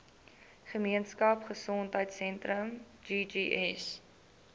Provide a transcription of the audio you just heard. gemeenskap gesondheidsentrum ggs